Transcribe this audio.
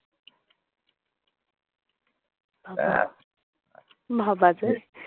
আহা ভাবা যায়!